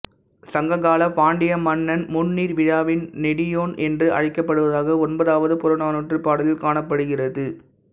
சங்க காலப் பாண்டிய மன்னன் முந்நீா் விழாவின் நெடியோன் என்று அழைக்கப்படுவதாக ஒன்பதாவது புறநானூற்றுப் பாடலில் காணப்படுகிறது